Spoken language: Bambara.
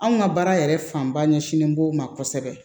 Anw ka baara yɛrɛ fanba ɲɛsinnen b'o ma kosɛbɛ